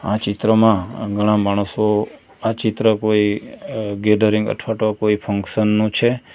આ ચિત્રમાં ઘણા માણસો આ ચિત્ર કોઈ અ ગેઢરીંગ અઠવા ટો કોઈ ફંકશન નું છે.